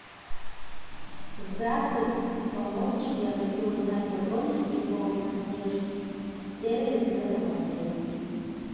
здравствуй помощник я хочу узнать подробности по консьерж сервис в этом отеле